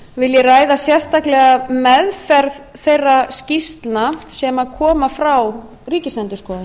vil ég ræða sérstaklega meðferð þeirra skýrslna sem koma frá ríkisendurskoðun